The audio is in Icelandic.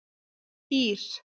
Ír